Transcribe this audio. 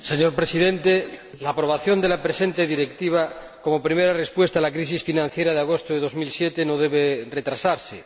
Señor Presidente, la aprobación de la presente Directiva, como primera respuesta a la crisis financiera de agosto de 2007, no debe retrasarse.